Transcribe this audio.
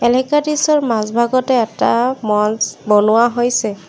মাজভাগতে এটা মঞ্চ বনোৱা হৈছে।